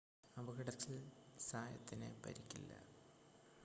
അപകടത്തിൽ സായത്തിന് പരിക്കില്ല